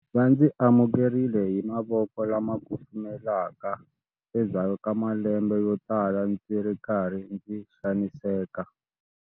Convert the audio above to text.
Va ndzi amukerile hi mavoko lama kufumelaka endzhaku ka malembe yo tala ndzi ri karhi ndzi xaniseka.